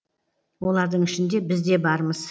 олардың ішінде біз де бармыз